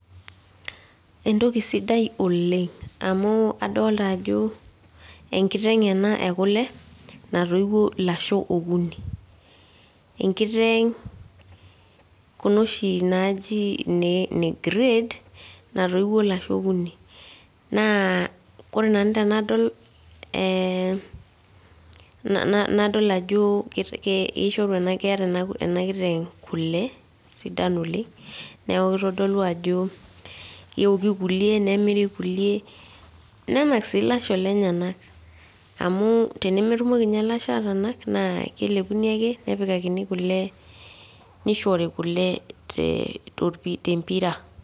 Entoki sidai oleng', amu adolta ajo enkiteng ena ekule, natoiuo ilasho okuni. Enkiteng kuna oshi naaji ine grade natoiuo ilasho okuni. Naa wore nanu tenadol eehm nadol ajo keeta enkiteng kule sidan oleng' neeku kitodolu ajo keoki kulie, nemiri kulie, nenak ilasho lenyanak. Amu tenemetumoki ilasho aatanak naa kelepuni ake nepikakini kule , nishori kule tempira.